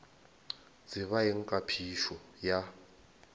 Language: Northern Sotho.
tseba eng ka phišo ya